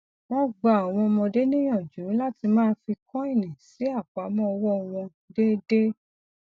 wọn ń gba àwọn ọmọdé níyànjú láti máa fi kọínì sí àpamọ owó wọn déédéé